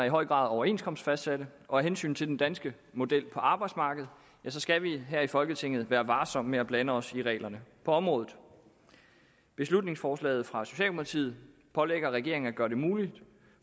i høj grad overenskomstfastsatte og af hensyn til den danske model på arbejdsmarkedet skal vi her i folketinget være varsomme med at blande os i reglerne på området beslutningsforslaget fra socialdemokratiet pålægger regeringen at gøre det muligt